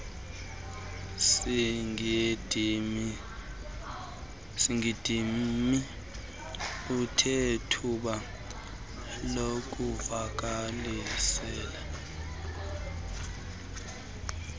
sigidimi unethuba lokuvakalisa